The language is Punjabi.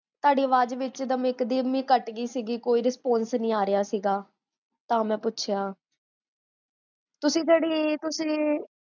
ਤੁਹਾਡੀ ਆਵਾਜ ਵਿੱਚ ਦੀ ਇਕੋ ਦਮ ਹੀ ਕੱਟ ਗਈ ਸੀ ਕੋਈ response ਨੀ ਆਰੇਹਾ ਸੀਗਾ, ਤਾਂ ਮੈਂ ਪੁਛਿਆਓ ਤਾਂ ਜੇਹੜੀ ਤੁਸੀਂ